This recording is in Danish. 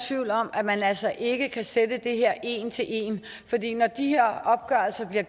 tvivl om at man altså ikke kan sætte det her op en til en når de her opgørelser bliver